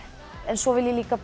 svo vil ég líka